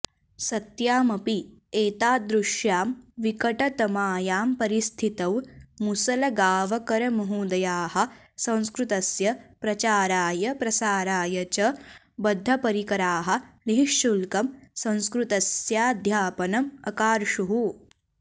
सत्यामपि एतादृश्यां विकटतमायां परिस्थितौ मुसलगाँवकरमहोदयाः संस्कृतस्य प्रचाराय प्रसाराय च बद्धपरिकराः निःशुल्कं संस्कृतस्याध्यापनम् अकार्षुः